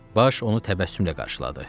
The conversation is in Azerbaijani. Baş onu təbəssümlə qarşıladı.